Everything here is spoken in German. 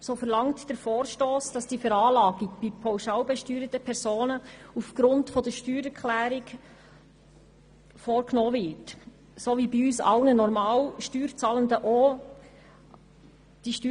So verlangt der Vorstoss, dass die Veranlagung bei pauschalbesteuerten Personen aufgrund der Steuererklärung vorgenommen wird, wie das bei allen normal Steuerzahlenden geschieht.